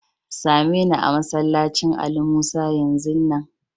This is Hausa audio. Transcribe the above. Tsame me a'masallacin Ali Musa yanzu nan!